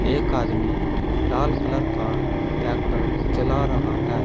एक आदमी लाल कलर का ट्रैक्टर चला रहा है।